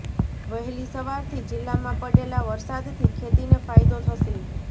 વહેલી સવારથી જિલ્લામાં પડેલા વરસાદથી ખેતી ને ફાયદો થશે